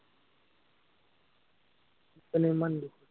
কেলেই ইমান দিয়ে